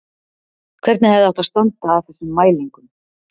Hvernig hefði átt að standa að þessum mælingum?